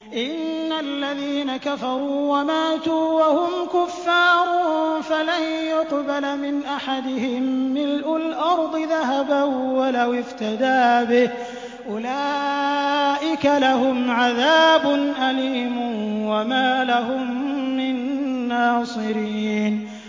إِنَّ الَّذِينَ كَفَرُوا وَمَاتُوا وَهُمْ كُفَّارٌ فَلَن يُقْبَلَ مِنْ أَحَدِهِم مِّلْءُ الْأَرْضِ ذَهَبًا وَلَوِ افْتَدَىٰ بِهِ ۗ أُولَٰئِكَ لَهُمْ عَذَابٌ أَلِيمٌ وَمَا لَهُم مِّن نَّاصِرِينَ